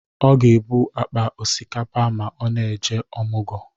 Ọ ga-ebu akpa ọsikapa ma ọ na-eje ọmụgọ.